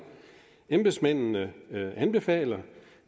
embedsmændene anbefaler